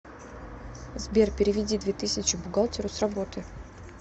сбер переведи две тысячи бухгалтеру с работы